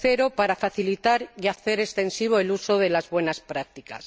y tercero, para facilitar y hacer extensivo el uso de las buenas prácticas.